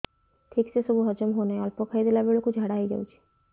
ଠିକସେ ସବୁ ହଜମ ହଉନାହିଁ ଅଳ୍ପ ଖାଇ ଦେଲା ବେଳ କୁ ଝାଡା ହେଇଯାଉଛି